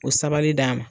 O sabali d'a ma